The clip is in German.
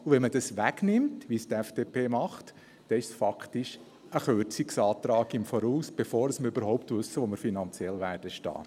Wenn man es wegnimmt, wie es die FDP macht, dann ist es faktisch ein Kürzungsantrag im Voraus, bevor wir überhaupt wissen, wo wir finanziell stehen werden.